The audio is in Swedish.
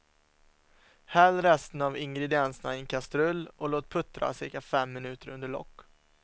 Häll resten av ingredienserna i en kastrull och låt puttra cirka fem minuter under lock.